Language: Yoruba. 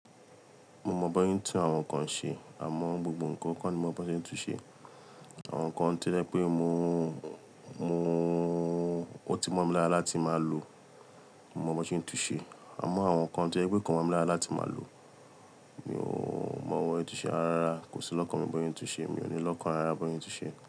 Mo mọ bi won se tún àwọn nǹkan ṣe, àmọ́ gbogbo nǹkan kọ́ ni mo mọ bí wọ́n ṣe ń tun ṣe. Àwọn nǹkan tó jẹ́ pé o ti mọ́ mi lára láti máa lò, mo mọ bí wọ́n ṣe ń tun ṣe. Àmọ́ àwọn nǹkan tó jẹ́ pé kò mọ̀ mi lára láti máa lò, mọ bí wọ́n ṣe ń tun ṣe. Áára ara kò sí lọ́kàn mi bọ́ yín tun ṣe, mi ò ní lọ́kàn ara bọ́ yín tun ṣe.